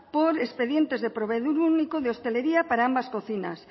por expedientes de proveedor único de hostelería para ambas cocinas